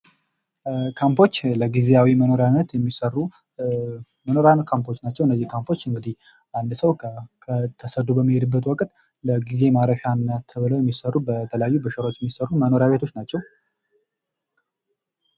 ካምፖች ለጊዜያዊ መኖሪያነት የሚሰሩ መኖሪያ ካምፖች ናቸው እነዚህ ካምፖች እንግዲህ አንድ ሰው ተሰዶ በሚሄድበት ወቅት ለጊዜው ማረፊያነት ተብለው የሚሰሩ በተለያዩ በሸራዎች የሚሰሩ መኖሪያ ቤቶች ናቸው።